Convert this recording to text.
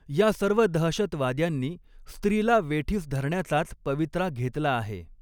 या सर्व दहशतवाद्यांनी स्त्रिला वेठीस धरण्याचाच पवित्रा घेतला आहे.